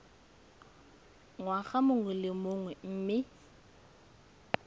ngwaga mongwe le mongwe mme